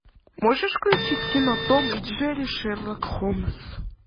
можешь включить кино том и джерри шерлок холмс